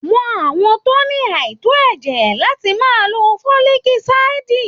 Wọn àwọn tó ní àìtó ẹ̀jẹ̀ láti máa lò foliki asidi.